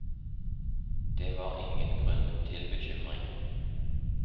Det var ingen grunn til bekymring.